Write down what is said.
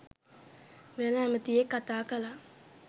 වෙන ඇමතියෙක් කතා කළා.